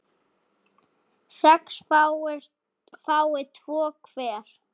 sex fái tvo hver